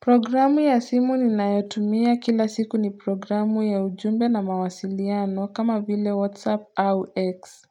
Programu ya simu ni nayotumia kila siku ni programu ya ujumbe na mawasiliano kama vile whatsapp au x